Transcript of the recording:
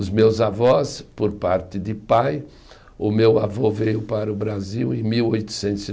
Os meus avós, por parte de pai, o meu avô veio para o Brasil em mil oitocentos e